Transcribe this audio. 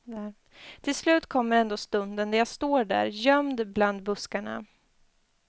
Till slut kommer ändå stunden då jag står där, gömd bland buskarna.